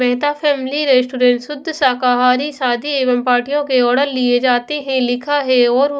Mehta family restaurant शुद्ध शाकाहारी शादी एवं पार्टियों के ऑर्डर लिए जाते हैं लिखा है और--